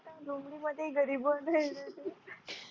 लोमडी मध्ये गरीब उधळला